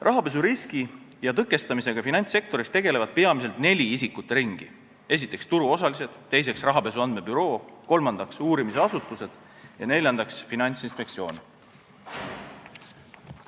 Rahapesu riski ja tõkestamisega finantssektoris tegelevad peamiselt neli isikute ringi: turuosalised, rahapesu andmebüroo, uurimisasutused ja Finantsinspektsioon.